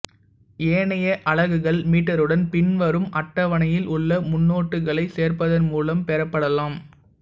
ஏனைய அலகுகள் மீட்டருடன் பின்வரும் அட்டவணையில் உள்ள முன்னோட்டுகளைச் சேர்ப்பதன் மூலம் பெறப்படலாம்